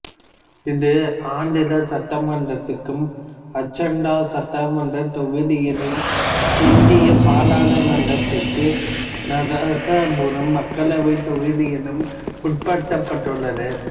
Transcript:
இது ஆந்திர சட்டமன்றத்திற்கு ஆச்சண்டா சட்டமன்றத் தொகுதியிலும் இந்திய பாராளுமன்றத்திற்கு நரசாபுரம் மக்களவைத் தொகுதியிலும் உட்படுத்தப்பட்டுள்ளது